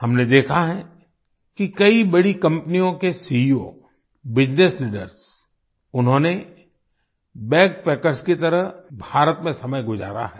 हमने देखा है किकई बड़ी कंपनियों के सीईओ बिजनेस लीडर्स उन्होंने बैगपैकर्स की तरह भारत में समय गुजारा है